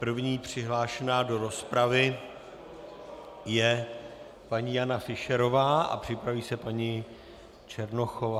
První přihlášená do rozpravy je paní Jana Fischerová a připraví se paní Černochová.